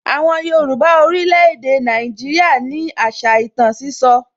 Àwọn Yorùbá orílè èdè Nàìjíríà ní àṣà ìtàn sísọ